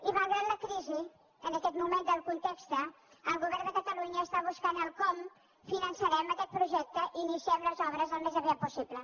i malgrat la crisi en aquest moment del context el govern de catalunya està buscant com finançarem aquest projecte i iniciem les obres al més aviat possible